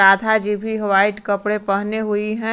राधा जी भी व्हाइट कपड़े पहने हुई है।